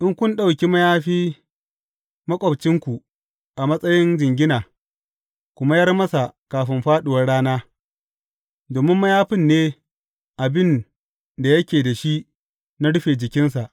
In kun ɗauki mayafi maƙwabcinku a matsayin jingina, ku mayar masa kafin fāɗuwar rana, domin mayafin ne abin da yake da shi na rufe jikinsa.